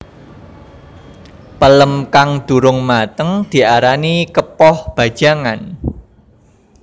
Pelem kang durung mateng diarani kepoh bajangan